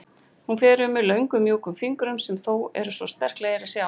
Hún fer um mig löngum mjúkum fingrum sem þó eru svo sterklegir að sjá.